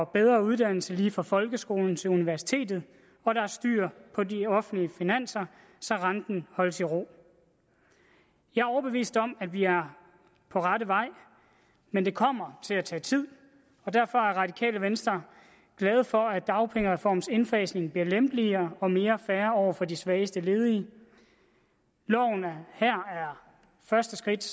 bedre uddannelse lige fra folkeskolen til universitetet og der er styr på de offentlige finanser så renten holdes i ro jeg er overbevist om at vi er på rette vej men det kommer til at tage tid og derfor er det radikale venstre glade for at dagpengereformens indfasning bliver lempeligere og mere fair over for de svageste ledige loven her er første skridt